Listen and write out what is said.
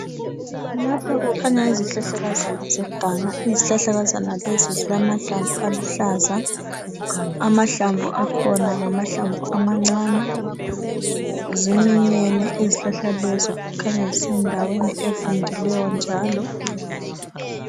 Lapha kukhanya izihlahlakazana zeganga. Izihhahlakazana lezi zilamahlamvu aluhlaza. Amahlamvu akhona ngamahlamvu amancane. Ziminyene izhlahla lezo kukhanya zisendaweni evundileyo njalo.